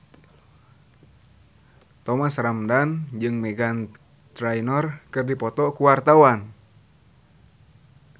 Thomas Ramdhan jeung Meghan Trainor keur dipoto ku wartawan